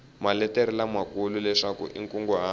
maletere lamakulu leswaku i nkunguhato